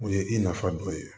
O ye i nafa dɔ ye